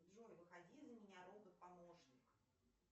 джой выходи за меня робот помощник